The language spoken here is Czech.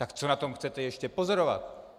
Tak co na tom chcete ještě pozorovat?